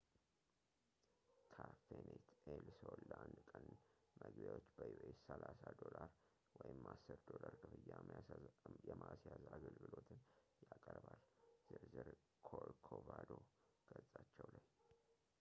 ካፌኔት ኤል ሶል ለአንድ ቀን መግቢያዎች በዩኤስ$30፣ ወይም $10 ክፍያ የማስያዝ አገልግሎትን ያቀርባል፤ ዝርዝር ኮርኮቫዶ ገፃቸው ላይ